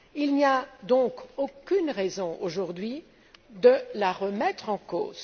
Il n'y a donc aucune raison, aujourd'hui, de la remettre en cause.